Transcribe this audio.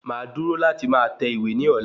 Máa dúró láti máa tẹ̀wé ní ọ̀la